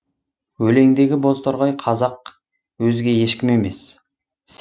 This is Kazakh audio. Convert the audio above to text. өлеңдегі бозторғай қазақ өзге ешкім емес